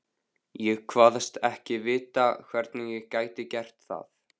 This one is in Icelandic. Ég kvaðst ekki vita, hvernig ég gæti gert það.